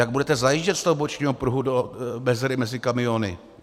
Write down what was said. Jak budete zajíždět z toho bočního pruhu do mezery mezi kamiony?